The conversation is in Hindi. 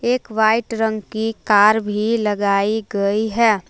एक वाइट रंग की कार भी लगाई गई है।